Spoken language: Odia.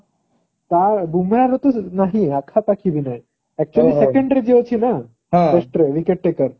ତା ବୁମ୍ରାହ ର ତ ନାହିଁ ପାଖାପାଖି ବି ନାହିଁ। actually second ରେ ଯିଏ ଅଛି ନା first wicket taker